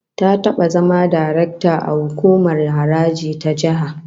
Ta taba zama darakta a hukumar haraji ta jiha